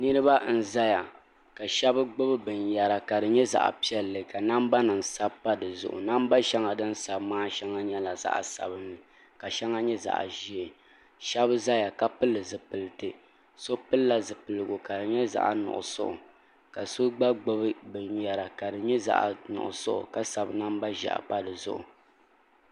niraba n ʒɛya ka shab gbubi binyɛra ka namba nim sabi pa dizuɣu ka di nyɛ zaɣ piɛlli namba shɛŋa din sabi maa shɛŋa nyɛla zaɣ sabinli ka shɛŋa nyɛ zaɣ ʒiɛ shab ʒɛya ka pili zipipiti so pilila zipiliti ka di nyɛ zaɣ nuɣso ka so gba gbubi binyɛra ka di nyɛ zaɣ nuɣso ka sabi namba ʒiɛhi pa dizuɣu